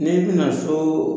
Ne tɛna so